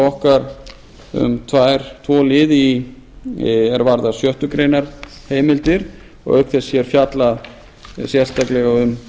okkar um tvo liði er varða sjöttu grein heimildir og auk þess fjallað sérstaklega um